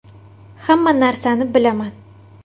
Hamma narsani bilaman.